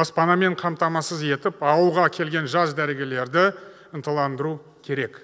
баспанамен қамтамасыз етіп ауылға келген жас дәрігерлерді ынталандыру керек